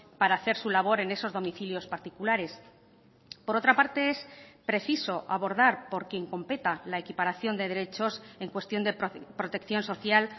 para hacer su labor en esos domicilios particulares por otra parte es preciso abordar por quien competa la equiparación de derechos en cuestión de protección social